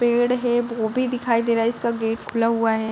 पेड़ है वो भी दिखाई दे रहा है। इसका गेट खुला हुआ है।